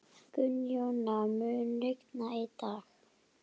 Kara, hvernig er dagskráin?